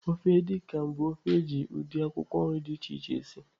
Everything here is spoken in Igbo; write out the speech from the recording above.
Ofe Edi kan bụ ofe eji ụdị akwụkwọ nri dị iche iche esi.